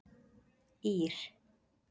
Ír